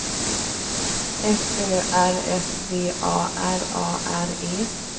F Ö R S V A R A R E